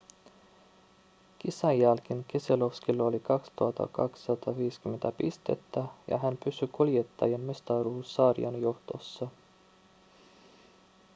kisan jälkeen keselowskilla on 2 250 pistettä ja hän pysyy kuljettajien mestaruussarjan johdossa